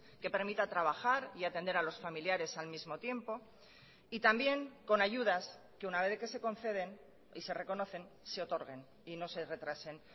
que permita trabajar y atender a los familiares al mismo tiempo y también con ayudas que una vez de que se conceden y se reconocen se otorguen y no se retrasen